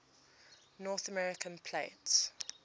north american plate